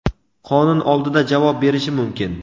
qonun oldida javob berishi mumkin.